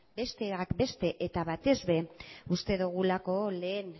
besteak beste eta batez ere uste dugulako lehen